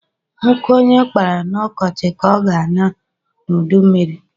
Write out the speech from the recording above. Nkụ onye gbara na ọkọchi ka ọ na-aṅa n’udummiri